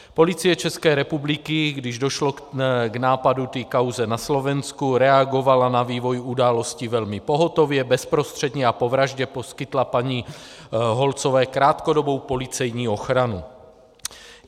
Policie České republiky, když došlo k nápadu té kauzy na Slovensku, reagovala na vývoj událostí velmi pohotově, bezprostředně a po vraždě poskytla paní Holcové krátkodobou policejní ochranu.